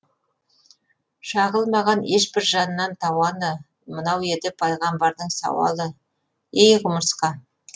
шағылмаған ешбір жаннан тауаны мынау еді пайғамбардың сауалы ей құмырсқа